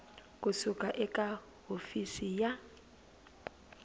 ku suka eka hofisi ya